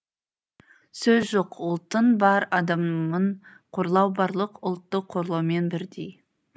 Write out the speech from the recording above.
сөз жоқ ұлттың бір адамын қорлау барлық ұлтты қорлаумен бірдей